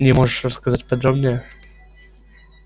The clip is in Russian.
мне можешь рассказать подробнее